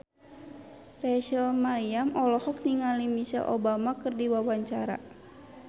Rachel Maryam olohok ningali Michelle Obama keur diwawancara